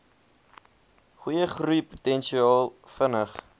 goeie groeipotensiaal vinnig